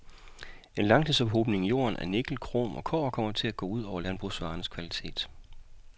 En langtidsophobning i jorden af nikkel, krom, og kobber kommer til at gå ud over landbrugsvarernes kvalitet.